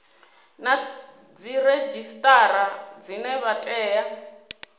na dziredzhisitara dzine dza tea